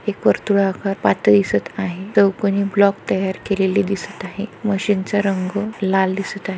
एक वर्तुळ आकार पात दिसत आहे चौकोनी ब्लॉक तयार केलेले दिसत आहे मशीन च रंग लाल दिसत आहे.